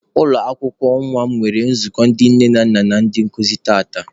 Ụlọ akwụkwọ nwa m nwere nzukọ ndị nne na nna na ndị nkụzi tata.